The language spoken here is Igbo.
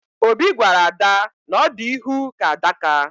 Obi gwara ada na ọ dị ihu ka adaka